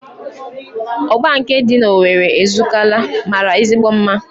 Ọgba nke dị n'Owere Ezukalla mara ezigbo mma